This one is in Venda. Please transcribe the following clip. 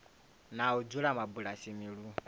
na u dzula mabulasini lu